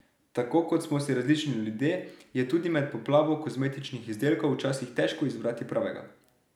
Tako kot smo si različni ljudje, je tudi med poplavo kozmetičnih izdelkov včasih težko izbrati pravega.